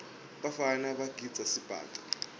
bafana bagidza sibhaca